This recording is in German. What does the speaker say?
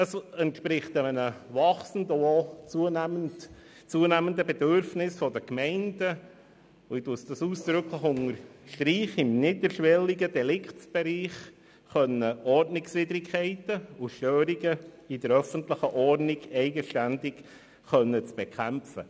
Es entspricht einem zunehmenden Bedürfnis der Gemeinden, im niederschwelligen Deliktsbereich Ordnungswidrigkeiten und Störungen der öffentlichen Ordnung eigenständig zu bekämpfen.